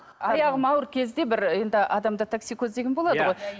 аяғым ауыр кезде бір енді адамда таксикоз деген болады ғой